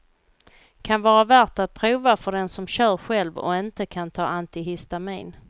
Kan vara värt att prova för den som kör själv och inte kan ta antihistamin.